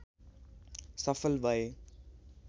सफल भए।